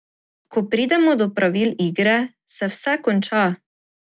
Ko pridemo do pravil igre, se vse konča.